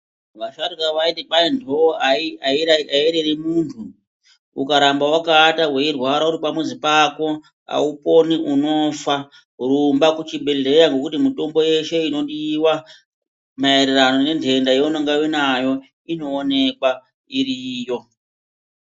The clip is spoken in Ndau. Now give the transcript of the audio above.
Vasharukwa vaiti kwahi ndoo aireri muntu, ukaramba wakaata weirwara uripamuzi pako hauponi, unofa. Rumba kuchibhedhleya ngokuti mutombo yeshe inodiwa maererano nendenda yaunonga unayo inoonekwa iriyo.